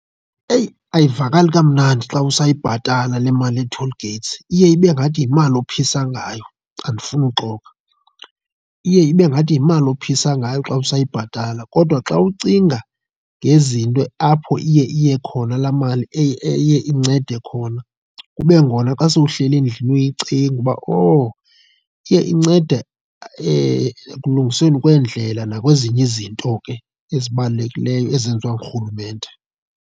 Eyi! Ayivakali kamnandi xa usayibhatala le mali yee-toll gates, iye ibe ngathi yimali ophisa ngayo andifuni uxoka. Iye ibe ngathi yimali ophisa ngayo xa usayibhatala kodwa xa ucinga ngezinto apho iye iye khona laa mali eye incede khona, kube ngona xa sowuhleli endlini uyicinga uba owu, iye incede ekulungisweni kweendlela nakwezinye izinto ke ezibalulekileyo ezenziwa ngurhulumente.